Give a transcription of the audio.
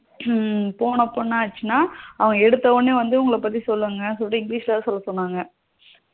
ஹம் போனப்போ என்னாசினா அவன் எடுத்த உடனே வந்து உங்கள பத்தி சொல்லுங்க சொல்லி english ல சொல்ல சொன்னாங்க